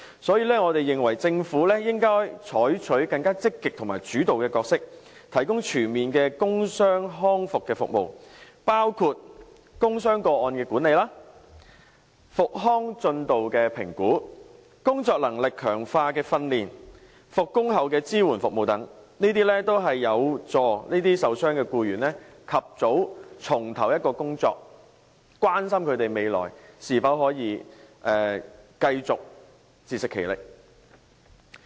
所以，我們認為政府應該採取更積極和主導的角色，提供全面的工傷康復服務，包括工傷個案的管理、復康進度的評估、工作能力強化的訓練和復工後的支援服務等，凡此種種均有助受傷僱員及早重投工作，關心他們的未來是否可以繼續自食其力。